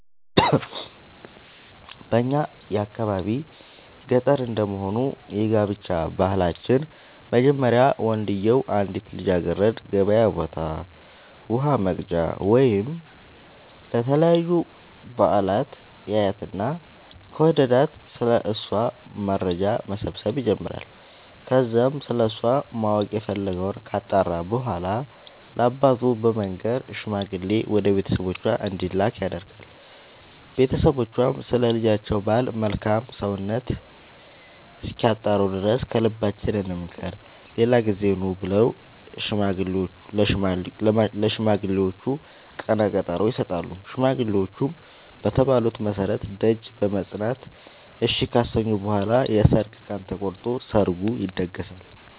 በእኛ የአካባቢ ገጠር እንደመሆኑ የጋብቻ ባህላችን መጀመሪያ ወንድዬው አንዲትን ልጃገረድ ገበያ ቦታ ውሃ ወቅጃ ወይም ለተለያዩ በአላት ያያትና ከወደዳት ስለ እሷ መረጃ መሰብሰብ ይጀምራይ ከዛም ስለሷ ማወቅ የፈለገወን ካጣራ በኋላ ለአባቱ በመንገር ሽማግሌ ወደ ቤተሰቦቿ እንዲላክ ያደርጋል ቦተሰቦቿም ስለ ልጃቸው ባል መልካም ሰውነት እስኪያጣሩ ድረስ ከልባችን እንምከር ሌላ ጊዜ ኑ ብለው ለሽማግሌዎቹ ቀነቀጠሮ ይሰጣሉ ሽማግሌዎቹም በተባሉት መሠረት ደጅ በመፅና እሺ ካሰኙ በኋላ የሰርግ ቀን ተቆርጦ ሰርግ ይደገሳል።